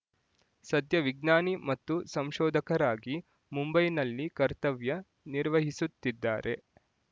ಸದ್ಯ ವಿಜ್ಞಾನಿ ಮತ್ತು ಸಂಶೋಧಕರಾಗಿ ಮುಂಬೈನಲ್ಲಿ ಕರ್ತವ್ಯ ನಿರ್ವಹಿಸುತ್ತಿದ್ದಾರೆ